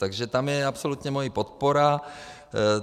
Takže tam je absolutně moje podpora.